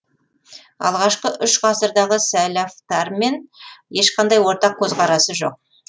алғашқы ғасырдағы сәәләфтармен ешқандай ортақ көзқарасы жоқ